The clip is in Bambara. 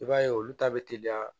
I b'a ye olu ta bɛ teliya